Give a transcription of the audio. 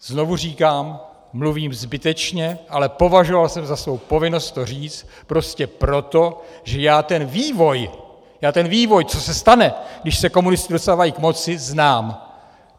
Znovu říkám, mluvím zbytečně, ale považoval jsem za svou povinnost to říct prostě proto, že já ten vývoj, já ten vývoj, co se stane, když se komunisté dostávají k moci, znám.